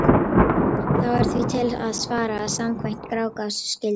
Þá er því til að svara að samkvæmt Grágás skyldu